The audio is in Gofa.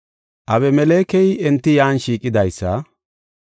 Abimelekey enti yan shiiqidaysa,